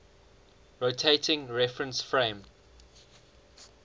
rotating reference frame